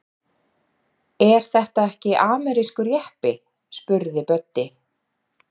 Er þetta ekki amerískur jeppi? spurði Böddi.